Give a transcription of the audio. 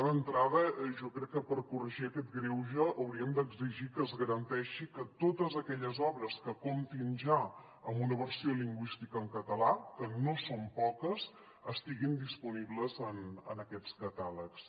d’entrada jo crec que per corregir aquest greuge hauríem d’exigir que es garan·teixi que totes aquelles obres que comptin ja amb una versió lingüística en català que no són poques estiguin disponibles en aquests catàlegs